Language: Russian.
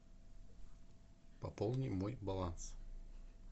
пополни мой баланс